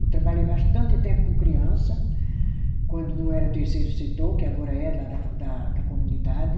Eu trabalhei bastante tempo com criança, quando não era terceiro setor, que agora é, lá da da comunidade.